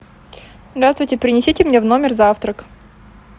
здравствуйте принесите мне в номер завтрак